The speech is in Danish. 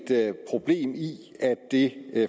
problem i at det